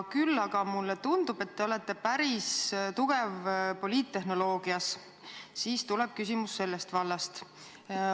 Samas mulle tundub, et te olete päris tugev poliittehnoloogias, ja nii tuleb mu küsimus sellest vallast.